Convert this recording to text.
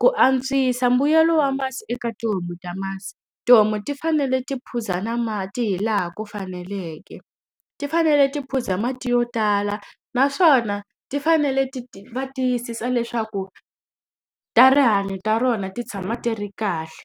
Ku antswisa mbuyelo wa masi eka tihomu ta masi, tihomu ti fanele ti phuza na mati hi laha ku faneleke. Ti fanele ti phuza mati yo tala naswona ti fanele va tiyisisa leswaku ta rihanyo ta rona ti tshama ti ri kahle.